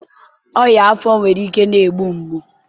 ọnyá afọ nwere ike na-egbu mgbu.